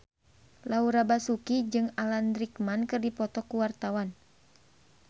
Laura Basuki jeung Alan Rickman keur dipoto ku wartawan